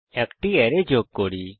এখন একটি অ্যারে যোগ করা যাক